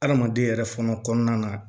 Adamaden yɛrɛ fɔlɔ kɔnɔna na